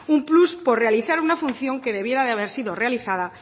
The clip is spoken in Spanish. un plus por realizar una función que debiera de haber sido realizada